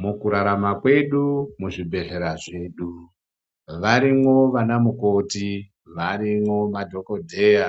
Mukurarama kwedu muzvibhedhleya zvedu varimwo vana mukoti varimwo madhogodheya.